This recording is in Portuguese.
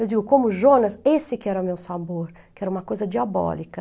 Eu digo, como o Jonas, esse que era o meu sabor, que era uma coisa diabólica.